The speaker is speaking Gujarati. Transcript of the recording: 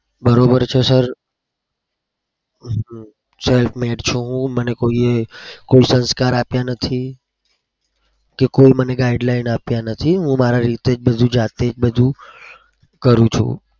બરોબર છે? sir સાહેબ મને કોઈ એ સંસ્કાએ આપ્યા નથી કોઈએ મને guideline આપ્યા નથી. હું મારી જાતે જ બધું કરું છું.